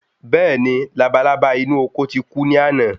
Béèni labalábá inú oko ti ku ni àná